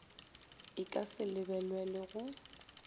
e ka se lebelelwe go